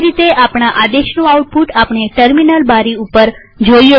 તેવી રીતે આપણા આદેશનું આઉટપુટ આપણે ટર્મિનલ બારી ઉપર જ જોઈએ છીએ